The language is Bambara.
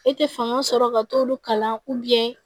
E tɛ fanga sɔrɔ ka t'olu kalan